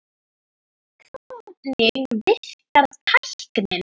Hvernig virkar tæknin?